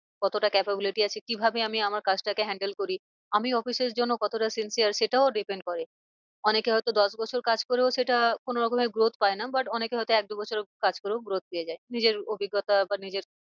কতটা capability আছে কি ভাবে আমি আমার কাজটাকে handle করি। আমি office এর জন্য কতটা sincere সেটাও depend করে। অনেকে হয় তো দশ বছর কাজ করেও সেটা কোনো রকমের growth পায় না but অনেকে হয় তো এক দু বছর কাজ করেও growth পেয়ে যায়। নিজের অভিজ্ঞতা বা নিজের